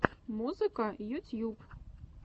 музыка ютьюб